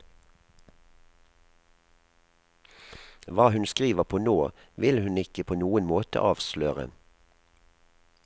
Hva hun skriver på nå vil hun ikke på noen måte avsløre.